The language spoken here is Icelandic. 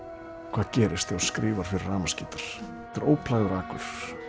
hvað gerist ef þú skrifar fyrir rafmagnsgítar þetta er óplægður akur